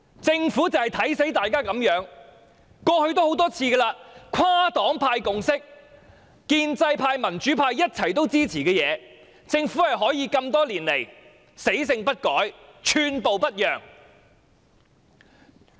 政府就是"看扁"大家會如此，過去多次如是，即使是跨黨派有共識、建制派和民主派一同支持的事，但政府多年來仍可死性不改、寸步不讓。